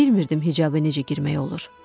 Bilmirdim hicaba necə girmək olur.